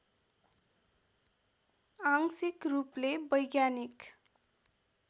आंशिक रूपले वैज्ञानिक